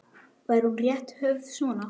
Væri hún rétt höfð svona